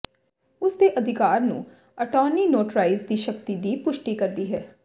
ਉਸ ਦੇ ਅਧਿਕਾਰ ਨੂੰ ਅਟਾਰਨੀ ਨੋਟਰਾਈਜ਼ ਦੀ ਸ਼ਕਤੀ ਦੀ ਪੁਸ਼ਟੀ ਕਰਦੀ ਹੈ